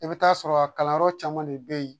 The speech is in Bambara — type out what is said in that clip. I bɛ t'a sɔrɔ kalanyɔrɔ caman de bɛ yen